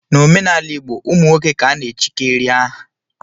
N'omenala igbo ụmụ nwoke ka ana-echikarị aha